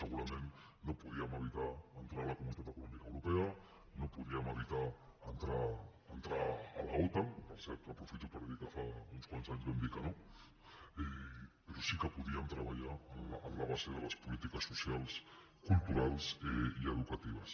segurament no podíem evitar entrar a la comunitat econòmica europea no podíem evitar entrar a l’otan per cert aprofito per dir que fa uns quants anys vam dir que no però sí que podíem treballar en la base de les polítiques socials culturals i educatives